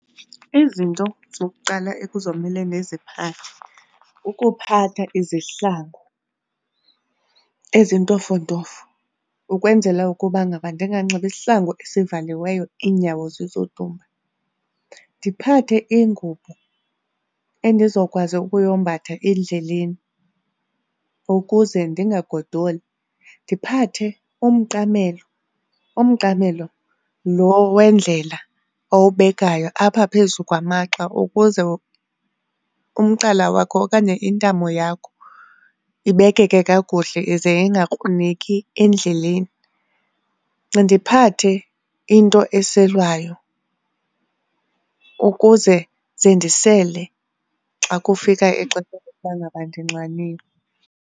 Izinto zokuqala ekuzomele ndiziphathe kukuphatha izihlangu ezintofontofo ukwenzela ukuba ngaba ndinganxibi isihlangu esivaliweyo iinyawo zizodumba. Ndiphathe ingubo endizokwazi ukuyombatha endleleni ukuze ndingagdokoli. Ndiphathe umqamelo, umqamelo loo wendlela owubekayo apha phezu kwamagxa ukuze umqala wakho okanye intamo yakho ibekeke kakuhle ize ingakruneki endleleni. Ndiphathe into eselwayo ukuze ze ndisele xa kufika ixesha lokuba ngaba ndinxaniwe.